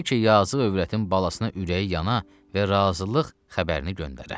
Bəlkə yazıq övrətin balasına ürəyi yana və razılıq xəbərini göndərə.